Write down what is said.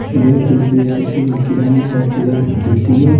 यह तस्वीर किसी किराने शॉप के लिए दिख रही है।